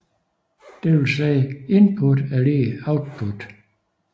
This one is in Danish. Det vil sige at input er lig output